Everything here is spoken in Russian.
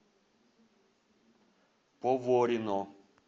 поворино